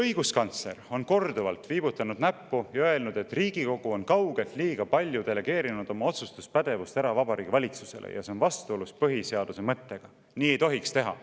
Õiguskantsler on korduvalt viibutanud näppu ja öelnud, et Riigikogu on kaugelt liiga palju delegeerinud oma otsustuspädevust ära Vabariigi Valitsusele, aga see on vastuolus põhiseaduse mõttega, nii ei tohiks teha.